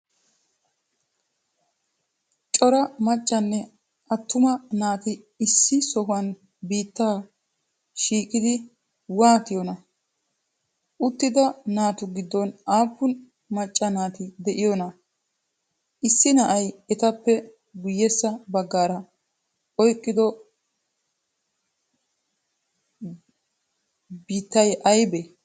Cora maccaane aatuumaa naati issi sohuwan biittaa shishshidi watiyoona? Uttida naatu giddon appun maccaa naati de'iyoonaa? Issi na'ay etappe guyessa baggara oyqqido bottay aybee?